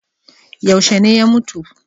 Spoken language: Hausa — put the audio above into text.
Yaushe ne ya mutu?